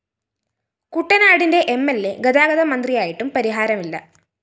കുട്ടനാടിന്റെ M L A ഗതാഗതമന്ത്രിയായിട്ടും പരിഹാരമില്ല